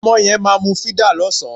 Ọmọ yẹn máa mu fídà lọ́sàn-án